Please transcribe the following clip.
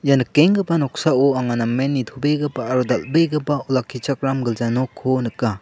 ia nikenggipa noksao anga namen nitobegipa aro dal·begipa olakichakram gilja nokko nika.